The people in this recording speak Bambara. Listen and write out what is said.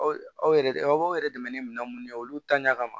Aw aw yɛrɛ aw yɛrɛ dɛmɛ ni minɛn minnu ye olu ta ɲa kama